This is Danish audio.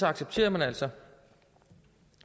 accepterer man altså